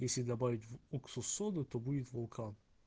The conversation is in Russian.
если добавить в уксус соду то будет вулкан